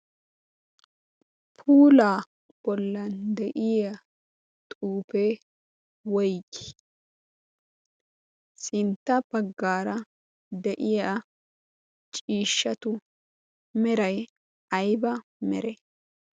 puula bollan de'iya xuufee woyi sintta paggaara de'iya ciishshatu meray ayba mere?